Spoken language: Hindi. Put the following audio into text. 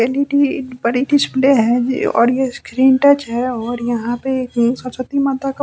एल_ई_डी बड़ी डिस्प्ले है और स्क्रीन टच है और यहां पे सरस्वती माता का--